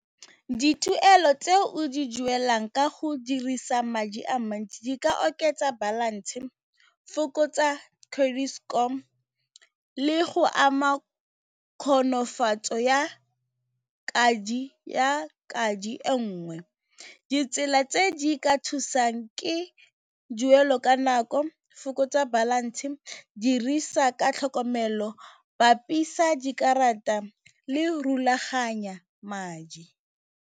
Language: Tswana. Dituelo tse o di duelang ka go dirisa madi a mantsi di ka oketsa balance, fokotsa credit score le go ama kgonofatso ya e nngwe ditsela tse di ka thusang ke ka nako, fokotsa balance, dirisa ka tlhokomelo bapisa dikarata le rulaganya madi.